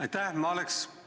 Aitäh!